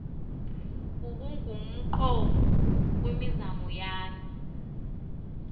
ubungumqobo kwimizamo yam